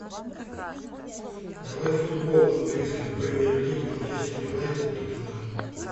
давай футбол английской премьер лиги манчестер юнайтед тоттенхэм